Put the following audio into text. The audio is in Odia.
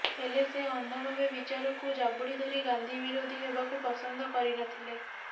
ହେଲେ ସେ ଅନ୍ଧ ଭାବେ ବିଚାରକୁ ଜାବୁଡ଼ି ଧରି ଗାନ୍ଧୀ ବିରୋଧୀ ହେବାକୁ ପସନ୍ଧ କରିନଥିଲେ